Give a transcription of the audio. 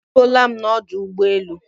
E ruola m n'ọdụ ụgbọelụ